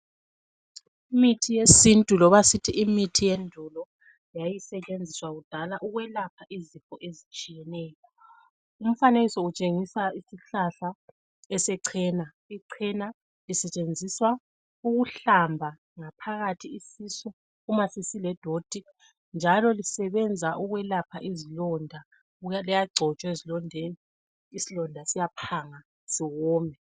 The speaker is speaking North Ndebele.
Imithi yesintu loba sithi imithi yendulo yayisetshenziswa kudala ukwelapha izifo ezitshiyeneyo. Umfanekiso utshengisa isihlahla esechena. Ichena lisetshenziswa ukuhlamba ngaphakathi isisu uma sesiledoti njalo lisebenza ukwelapha izilonda. Liyagcotshwa ezilondeni, isilonda siyaphanga siwome.